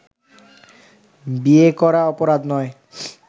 বিয়ে করা অপরাধ নয়